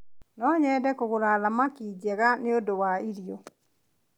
No nyende kũgũra thamaki njega nĩ ũndũ wa irio.